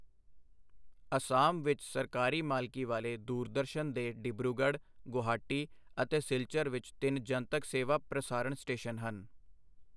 ਅਸਾਮ ਵਿੱਚ ਸਰਕਾਰੀ ਮਾਲਕੀ ਵਾਲੇ ਦੂਰਦਰਸ਼ਨ ਦੇ ਡਿਬਰੂਗੜ੍ਹ, ਗੁਹਾਟੀ ਅਤੇ ਸਿਲਚਰ ਵਿੱਚ ਤਿੰਨ ਜਨਤਕ ਸੇਵਾ ਪ੍ਰਸਾਰਣ ਸਟੇਸ਼ਨ ਹਨ।